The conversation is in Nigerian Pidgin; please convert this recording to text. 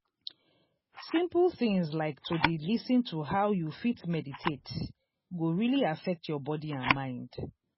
simple things like to d lis ten to how you fit meditate go really affect your body and mind.